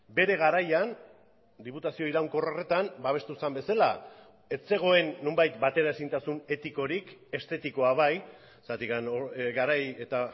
bere garaian diputazio iraunkor horretan babestu zen bezala ez zegoen nonbait bateraezintasun etikorik estetikoa bai zergatik garai eta